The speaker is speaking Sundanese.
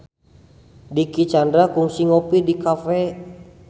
Dicky Chandra kungsi ngopi di cafe